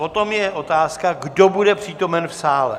Potom je otázka, kdo bude přítomen v sále.